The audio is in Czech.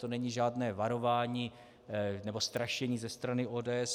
To není žádné varování nebo strašení ze strany ODS.